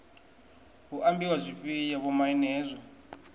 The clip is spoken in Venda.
hu ambiwa zwifhio vhomaine hezwo